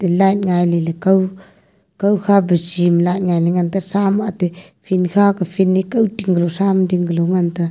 light ngai le le kao kao pha jim light ngai la ngan pa sam ate field khaw field kani tingnu sam ding galo ngan ta.